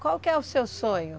Qual que é o seu sonho?